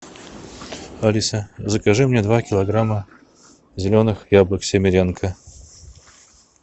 алиса закажи мне два килограмма зеленых яблок семеренко